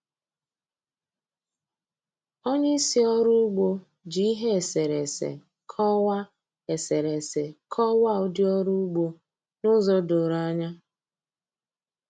Onye isi ọrụ ugbo ji ihe eserese kọwaa eserese kọwaa ụdị ọrụ ugbo n'ụzọ doro anya.